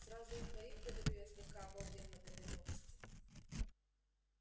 сразу у двоих говорю я слегка обалдев от этой новости